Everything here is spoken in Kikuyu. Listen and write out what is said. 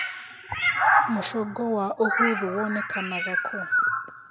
Mũcongo wa Uhuru wonekanga kũ